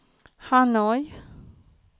Hanoi